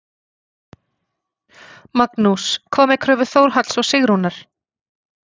Magnús: Hvað með kröfu Þórhalls og Sigrúnar?